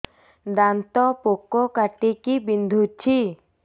ଦାନ୍ତ ପୋକ କାଟିକି ବିନ୍ଧୁଛି